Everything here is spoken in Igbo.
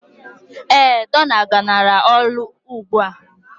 Ee, dọla galara ọnụ ugbua.